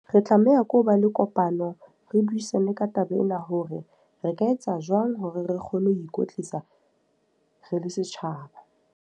Re tlameha ko ho ba le kopano, re buisane ka taba ena. Hore re ka etsa jwang hore re kgone ho ikwetlisa re le setjhaba.